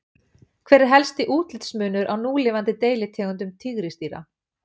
Hver er helsti útlitsmunur á núlifandi deilitegundum tígrisdýra?